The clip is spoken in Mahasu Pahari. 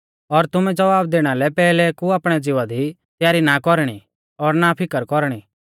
और तुमै ज़वाब दैणा लै पैहलै कु आपणै ज़िवा दी तयारी नाईं कौरणी और ना फीकर कौरणी